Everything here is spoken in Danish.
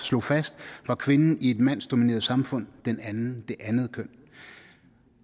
slog fast var kvinden i et mandsdomineret samfund det andet køn